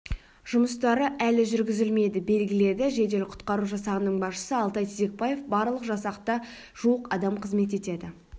жұмыстары әлі жүргізілмеді белгіледі жедел-құтқару жасағының басшысы алтай тезекпаев барлы жасақта жуық адам қызмет етеді